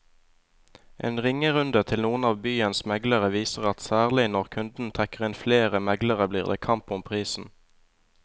En ringerunde til noen av byens meglere viser at særlig når kunden trekker inn flere meglere blir det kamp om prisen.